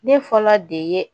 Ne fɔlɔ de ye